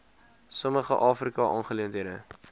sommige afrika aangeleenthede